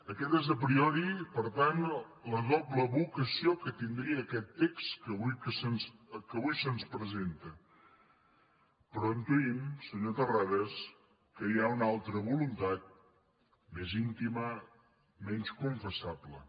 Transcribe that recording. aquesta és a priori per tant la doble vocació que tindria aquest text que avui se’ns presenta però intuïm senyor terrades que hi ha una voluntat més íntima menys confessable